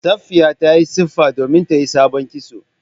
Safiya ta yi tsifa domin ta yi sabon kitso